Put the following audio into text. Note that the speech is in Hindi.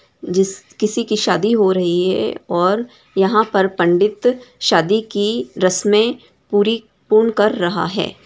जिस किसी की शादी हो रही हैं और यहाँ पर पंडित शादी की रसमे पूरी पूर्ण कर रहा हैं।